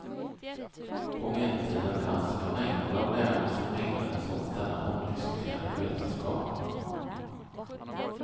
På medeltiden fanns med mängder av lärde som ägnade sig åt denna omdiskuterade vetenskap.